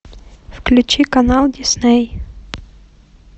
включи канал дисней